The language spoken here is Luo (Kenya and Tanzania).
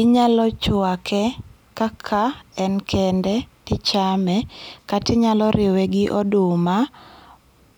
Inyalo chuake kaka en kende ti ichame, kata inyalo riwe gi oduma